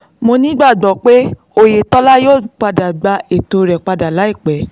mo nígbàgbọ́ pé òyetòlá yóò gba ètò rẹ̀ padà láìpẹ́